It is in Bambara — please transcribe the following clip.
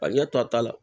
A ɲɛ tɔ a ta la